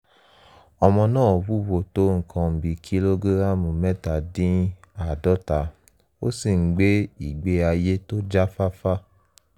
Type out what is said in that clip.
ọmọ náà wúwo tó nǹkan bíi kìlógíráàmù mẹta-dín-áàádọta ó sì ń gbé ìgbé ayé tó jáfáfá